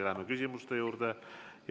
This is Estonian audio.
Läheme küsimuste juurde.